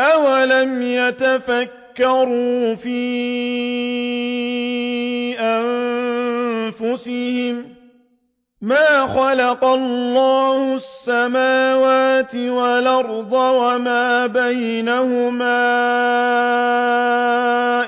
أَوَلَمْ يَتَفَكَّرُوا فِي أَنفُسِهِم ۗ مَّا خَلَقَ اللَّهُ السَّمَاوَاتِ وَالْأَرْضَ وَمَا بَيْنَهُمَا